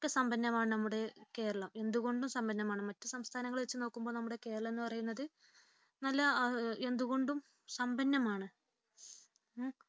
സമ്പന്നമാണ് നമ്മുടെ കേരളം എന്തുകൊണ്ടും സമ്പന്നമാണ് മറ്റു സംസ്ഥാനങ്ങളെ വച്ച് നോക്കുമ്പോൾ നമ്മുടെ കേരളം എന്ന് പറയുന്നത് എന്തുകൊണ്ടും സമ്പന്നമാണ്